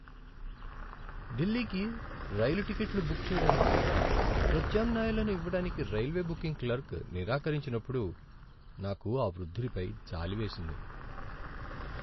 ఢిల్లీకి రైలు టిక్కెట్లు బుక్ చేయడానికి ప్రత్యామ్నాయాలను ఇవ్వడానికి రైల్వే బుకింగ్ క్లర్క్ నిరాకరించినప్పుడు నాకు ఆ వృద్ధుడిపై జాలి వేసింది.